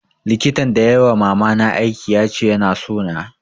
Likitan da yai wa mama na aiki ya ce ya na so na